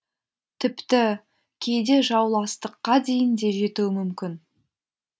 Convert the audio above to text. тіпті кейде жауластыққа дейін де жетуі мүмкін